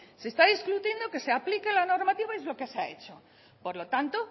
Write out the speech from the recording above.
se está discutiendo que se aplica la normativa es lo que se ha hecho por lo tanto